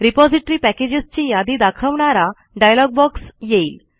repository पॅकेजेसची यादी दाखवणारा डायलॉग बॉक्स येईल